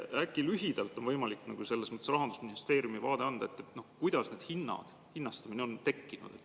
Äkki on võimalik selles mõttes anda lühidalt Rahandusministeeriumi vaade, kuidas need hinnad, see hinnastamine on tekkinud.